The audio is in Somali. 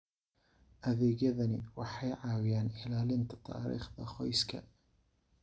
Adeegyadani waxay caawiyaan ilaalinta taariikhda qoyska.